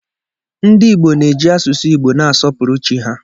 Ndị Igbo na-eji asụsụ Igbo na-asọpụrụ Chi ha.